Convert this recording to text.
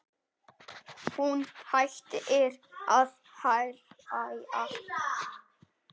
Hún hættir að hlæja.